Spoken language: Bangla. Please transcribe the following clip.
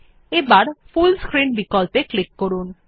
এবার ফুল স্ক্রিন বিকল্পে ক্লিক করুন